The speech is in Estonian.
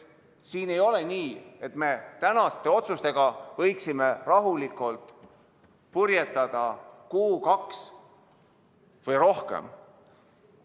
Siin ei ole nii, et me tänaste otsustega võiksime rahulikult purjetada kuu, kaks või rohkem.